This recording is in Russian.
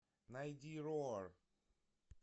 найди роар